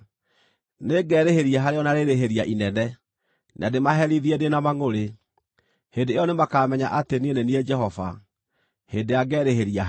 Nĩngerĩhĩria harĩo na rĩĩrĩhĩria inene na ndĩmaherithie ndĩ na mangʼũrĩ. Hĩndĩ ĩyo nĩmakamenya atĩ niĩ nĩ niĩ Jehova, hĩndĩ ĩrĩa ngeerĩhĩria harĩo.’ ”